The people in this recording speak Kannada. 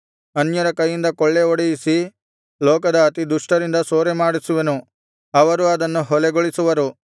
ಅನ್ಯರ ಕೈಯಿಂದ ಕೊಳ್ಳೆಹೊಡೆಯಿಸಿ ಲೋಕದ ಅತಿ ದುಷ್ಟರಿಂದ ಸೂರೆಮಾಡಿಸುವೆನು ಅವರು ಅದನ್ನು ಹೊಲೆಗೊಳಿಸುವೆನು